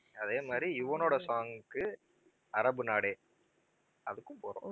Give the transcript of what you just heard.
அதே மாதிரி யுவனோட song க்கு அரபு நாடே அதுக்கும் போறோம்